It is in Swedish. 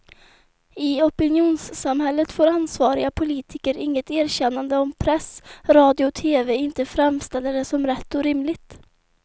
I opinionssamhället får ansvariga politiker inget erkännande om press, radio och tv inte framställer det som rätt och rimligt.